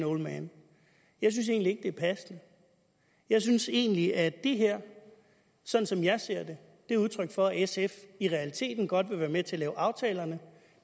old man jeg synes egentlig er passende jeg synes egentlig at det her sådan som jeg ser det er udtryk for at sf i realiteten godt vil være med til at lave aftalerne